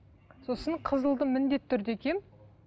сосын қызылды міндетті түрде киемін